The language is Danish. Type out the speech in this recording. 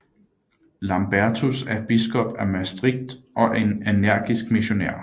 Lambertus er biskop af Maastricht og en energisk missionær